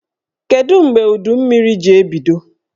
Kedụ mgbe udummiri ji ebido?